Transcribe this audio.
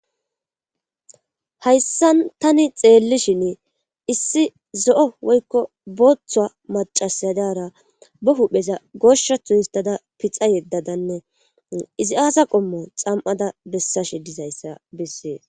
Hayssan tani xeellishin issi zo'o woykko booththoa macasadara bo hupheza goshathu histada pixa yeddadanne izi aasa qommo xam'ada bessashe dizayssa bessee